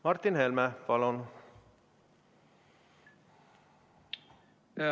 Martin Helme, palun!